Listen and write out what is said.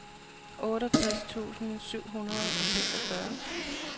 otteogtres tusind syv hundrede og seksogfyrre